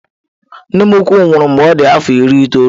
Nne m ukwu nwụrụ mgbe ọ dị afọ iri itoolu.